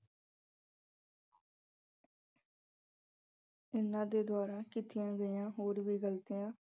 ਉਹਨਾਂ ਦੇ ਦੁਆਰਾ ਕੀਤੀਆਂ ਗਈਆਂ ਹੋਰ ਵੀ ਗਲਤੀਆਂ